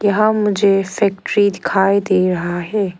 यहाँ मुझे फैक्ट्री दिखाई दे रहा है।